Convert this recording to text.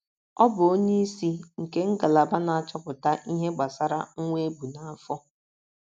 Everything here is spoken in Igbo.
Ọ bụ onyeisi nke ngalaba na - achọpụta ihe gbasara nwa e bu n’afọ.